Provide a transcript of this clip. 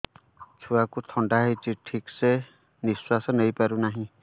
ଛୁଆକୁ ଥଣ୍ଡା ହେଇଛି ଠିକ ସେ ନିଶ୍ୱାସ ନେଇ ପାରୁ ନାହିଁ